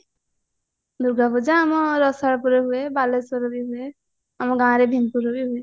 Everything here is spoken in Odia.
ଦୂର୍ଗା ପୂଜା ଆମ ରାସାର ପୁରେ ହୁଏ ବାଲେଶ୍ଵରରେ ବି ହୁଏ ଆମ ଗାଁରେ ଭୀମପୁରରେ ବି ହୁଏ